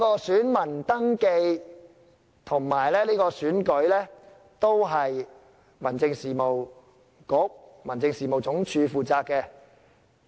選民登記和選舉本身都是由民政事務局和民政事務總署負責。